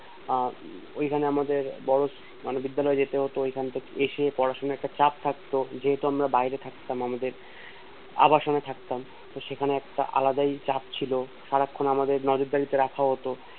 আর ওই জন্য আমাদের বড় মানে বিদ্যালয় যেতে হতো তো এখন থেকে এসে পড়াশুনোর একটা চাপ থাকতো যেহেতু আমরা বাইরে থাকতাম আমাদের আবাসনে থাকতাম তো সেখানে একটা আলাদাই চাপ ছিল সারাক্ষন আমাদের নজরদারি তে রাখা হতো